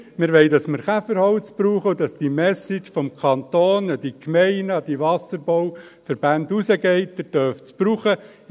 Wir wollen, dass wir Käferholz verwenden und dass vom Kanton an die Gemeinden, die Wasserbauverbände die Message hinausgeht, dass sie es verwenden dürfen.